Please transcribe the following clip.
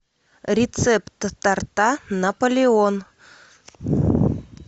рецепт торта наполеон